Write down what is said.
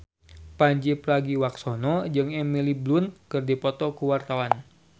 Pandji Pragiwaksono jeung Emily Blunt keur dipoto ku wartawan